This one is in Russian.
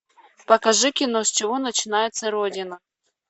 покажи кино с чего начинается родина